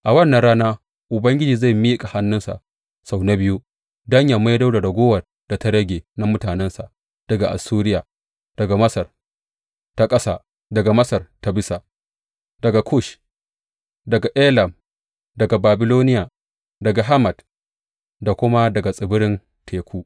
A wannan rana Ubangiji zai miƙa hannunsa sau na biyu don yă maido da raguwar da ta rage na mutanensa daga Assuriya, daga Masar ta Ƙasa, daga Masar ta Bisa, daga Kush, daga Elam, daga Babiloniya, daga Hamat da kuma daga tsibiran teku.